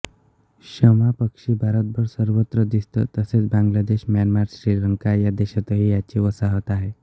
शमा पक्षी भारतभर सर्वत्र दिसतो तसेच बांगलादेश म्यानमार श्रीलंका या देशातही याची वसाहत आहे